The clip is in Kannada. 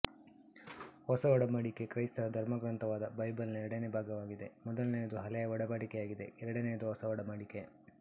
ಹೊಸ ಒಡಂಬಡಿಕೆ ಕ್ರೈಸ್ತರ ಧರ್ಮಗ್ರಂಥವಾದ ಬೈಬಲಿನ ಎರಡನೇ ಭಾಗವಾಗಿದೆ ಮೊದಲನೆಯದು ಹಳೆಯ ಒಡಂಬಡಿಕೆಯಾಗಿದೆ ಎರಡನೆಯದು ಹೊಸ ಒಡಂಬಡಿಕೆ